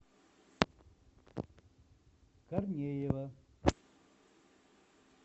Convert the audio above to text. корнеева